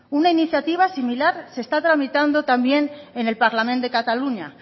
una iniciativa similar se está tramitando también en el parlament de cataluña